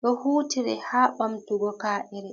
ɗo hutire ha bamtugo ka’ere.